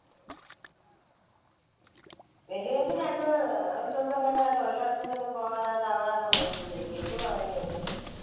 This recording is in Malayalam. വെല്യമിച്ചി രണ്ട്‍ അഹ് തൊഴിലുറപ്പിനൊന്നും പോകാതെ ബിന്ദു പറയുന്നത് കേട്ടു.